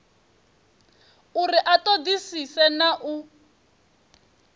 uri a ṱoḓisise na u